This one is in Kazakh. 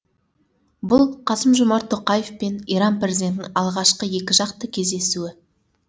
бұл қасым жомарт тоқаев пен иран президентінің алғашқы екіжақты кездесуі